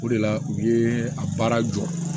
O de la u ye a baara jɔ